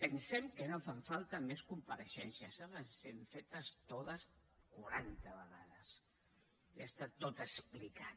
pensem que no fan falta més compareixences ja les hem fet totes quaranta vegades ja està tot explicat